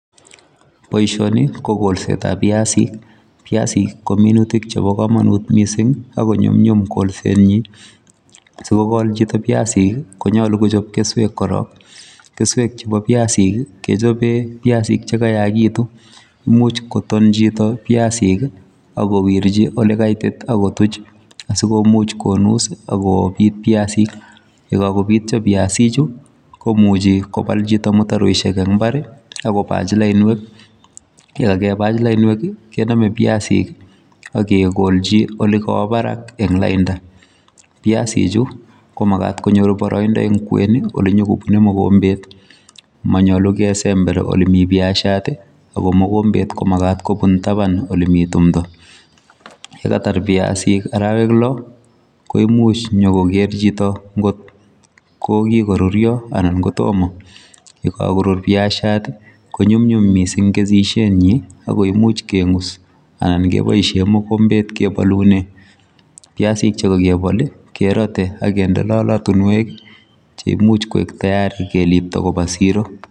Boisoni, ko golsetab piasik. Piasik ko minutik chebo komonut missing ago nyumnyum golset nyi. Sikogol chito piasik, konyolu kochop keswek korok. Keswek chebo piasik, kechope piasik cheko yaagitu. Imuch koton chito piasik, agowirchi ole kaitit, akotuch. Asigomuch konus akobit piasik. Yekakabityo piasik chu, komuchi kobal chito mutaroishek eng' mbar, agobach lainwek. Yekakebach lainwek, kename piasik akegolchi ole kawo barak eng' lainda. Piasik chu, ko magat konyor boroindo eng' kwen, ole nyigobune mogombet. Manyolu kesember ole mii piashiat, ago mogombet ko magat kobun taban ole mi timdo. Ye katar piasik arawek lo, ko imuch nyokoger chito ngot ko kikorurio anan kotomo. Ye kakorur piasiat, ko nyumnyum mising kesishiet nyi. Ago imuch keng'us anan keboisie mogombet kebolune. Piasik che kakebol, kerate aginde lolotunwek, che imuch koek tayari kelipto koba siro.